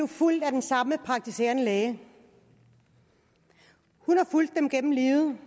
fulgt af den samme praktiserende læge hun har fulgt dem gennem livet